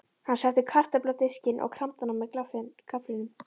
Hann setti kartöflu á diskinn og kramdi hana með gafflinum.